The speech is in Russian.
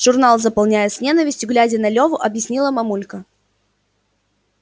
журнал заполняю с ненавистью глядя на леву объяснила мамулька